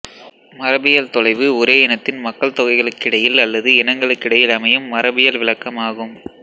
மரபியல் தொலைவு ஒரே இனத்தின் மக்கள்தொகைகளுக்கிடையில் அல்லது இனங்களுக்கிடையில் அமையும் மரபியல் விலக்கம் ஆகும்